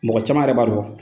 Mɔgɔ caman yɛrɛ b'a dɔn